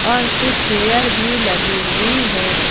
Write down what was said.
और कुछ चेयर भी लगी हुई है।